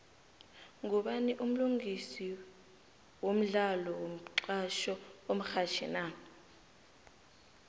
ngubani umlingisi wodlalo womxhatjho omrhatjhi na